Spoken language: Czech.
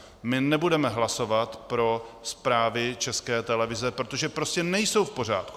My nebudeme hlasovat pro zprávy České televize, protože prostě nejsou v pořádku.